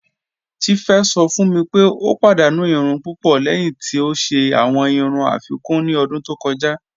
Tífé sọ̀ fún mí pé o padànú ìrùn púpọ̀ lẹ́hìn tí o ṣẹ̀ awọn ìrùn afíkún ní ọ̀dún tó kọja.